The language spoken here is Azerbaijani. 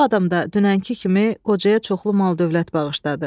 Bu adamda dünənki kimi qocaya çoxlu mal-dövlət bağışladı.